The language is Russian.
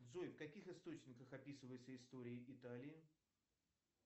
джой в каких источниках описывается история италии